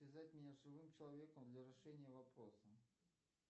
связать меня с живым человеком для решения вопроса